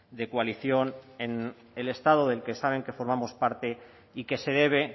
de coalición en el estado del que saben que formamos parte y que se debe